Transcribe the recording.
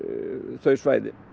þau svæði